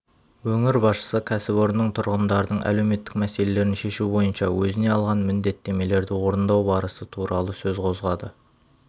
өңір басшысы кәсіпорынның тұрғындардың әлеуметтік мәселелерін шешу бойынша өзіне алған міндеттемелерді орындау барысы туралы сөз қозғады